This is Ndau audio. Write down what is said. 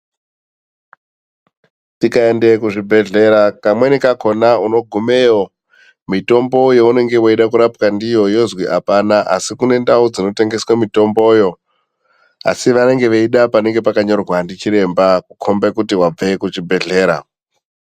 Tikaende ku zvibhedhleya kamweni kakona uno gumeyo mitombo younenge weida kurapwa ndiyo yozwi apana asi kune ndau dzino tengeswe mitomboyo asi vanenge veida panenge pakanyorwa ndi chiremba kukombe kuti vabve ku chibhedhlera.